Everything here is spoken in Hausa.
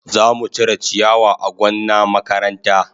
Za mu cire ciyawa a gonna makaranta.